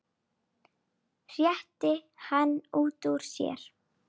hreytti hann út úr sér.